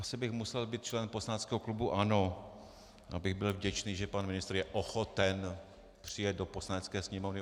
Asi bych musel být člen poslaneckého klubu ANO, abych byl vděčný, že pan ministr je ochoten přijet do Poslanecké sněmovny.